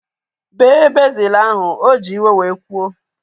Bee bezil ahu! O ji iwe wee kwuo